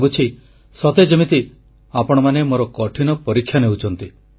ଲାଗୁଛି ସତେ ଯେମିତି ଆପଣମାନେ ମୋର କଠିନ ପରୀକ୍ଷା ନେଉଛନ୍ତି